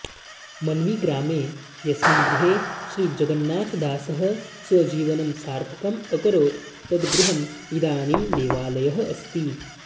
मन्वीग्रामे यस्मिन् गृहे श्रीजगन्नाथदासः स्वजीवनं सार्थकम् अकरोत् तत् गृहं इदानीं देवालयः अस्ति